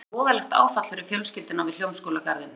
Hvílíkt voðalegt áfall fyrir fjölskylduna við Hljómskálagarðinn.